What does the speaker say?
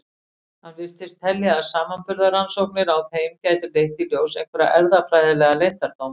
Hann virtist telja að samanburðarrannsóknir á þeim gætu leitt í ljós einhverja erfðafræðilega leyndardóma.